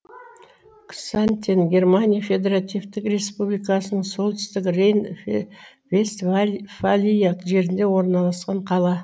ксантен германия федеративтік республикасының солтүстік рейн вестваль фалия жерінде орналасқан қала